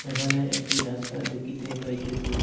এখানে একটি রাস্তা দেকিতে পাইতেসি।